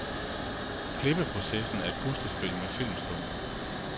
Klippeprocessen er et puslespil med filmstumper.